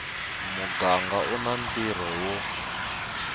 muganga u na ntirho wo